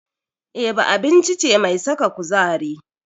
Eba abinci ce mai saka kuzari.